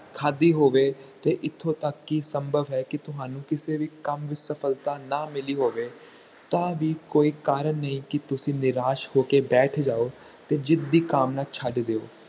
ਖਾਦੀ ਹੋਵੇ ਤੇ ਇਥੋਂ ਤੱਕ ਕਿ ਸੰਭਵ ਹੈ ਕਿ ਤੁਹਾਨੂੰ ਕਿਸੇ ਵੀ ਕੰਮ ਵਿਚ ਸਫਲਤਾ ਨਾ ਮਿਲੀ ਹੋਵੇ ਤਾ ਵੀ ਕੋਈ ਕਾਰਣ ਨਹੀਂ ਕਿ ਤੁਸੀਂ ਨਿਰਾਸ਼ ਹੋਕੇ ਬੈਠ ਜਾਓ ਤੇ ਜਿੱਤ ਦੀ ਕਾਮਨਾ ਛੱਡ ਦਿਓ